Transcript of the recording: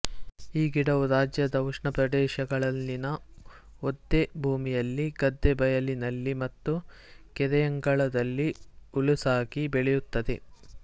ಈ ಗಿಡವು ರಾಜ್ಯದ ಉಷ್ಣಪ್ರದೆಶಗಳಲ್ಲಿನ ಒದ್ದೆಭೂಮಿಯಲ್ಲಿ ಗದ್ದೆ ಬಯಲಿನಲ್ಲಿ ಮತ್ತು ಕೆರೆಯಂಗಳದಲ್ಲಿ ಹುಲುಸಾಗಿ ಬೆಳೆಯುತ್ತದೆ